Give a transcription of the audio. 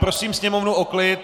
Prosím sněmovnu o klid.